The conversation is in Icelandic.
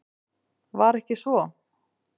Var ekki svo?